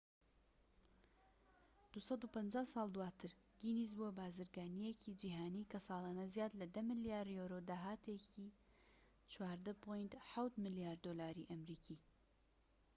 250 ساڵ دواتر، گینیس بووە بازرگانیەکی جیهانی کە سالانە زیاد لە ١٠ ملیار یۆرۆ داهاتێتی 14.7 ملیار دۆلاری ئەمریکی